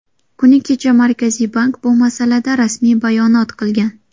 Kuni kecha Markaziy bank bu masalada rasmiy bayonot qilgan.